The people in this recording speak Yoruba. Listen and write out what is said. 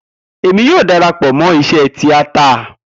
Emi yoo darapọ mọ iṣe tiata